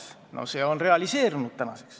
See on nüüdseks realiseerunud.